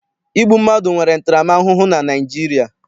Igbu mmadụ nwere ntaramahụhụ na Naịjirịa.